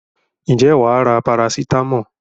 Ǹjẹ́ wà á ra parasitámọ̀?